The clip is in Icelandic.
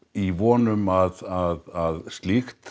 í von um að slíkt